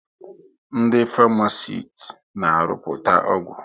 Ndị Farmasiti na arụputa ọgwụ